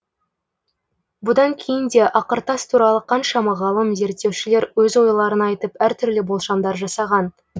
бұдан кейін де ақыртас туралы қаншама ғалым зерттеушілер өз ойларын айтып әртүрлі болжамдар жасаған